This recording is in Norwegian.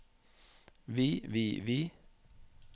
vi vi vi